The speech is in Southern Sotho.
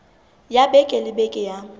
ya beke le beke ya